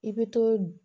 I bɛ to